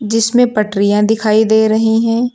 जिसमें पटरियां दिखाई दे रही हैं।